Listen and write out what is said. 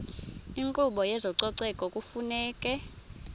inkqubo yezococeko kufuneka